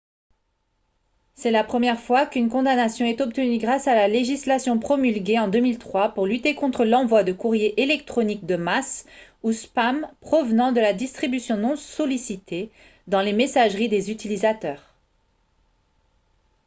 c'est la première fois qu'une condamnation est obtenue grâce à la législation promulguée en 2003 pour lutter contre l'envoi de courriers électroniques de masse ou spam provenant de la distribution non sollicitée dans les messageries des utilisateurs